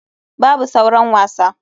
Babu sauran wasa.